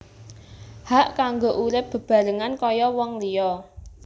Hak kanggo urip bebarengan kaya wong liya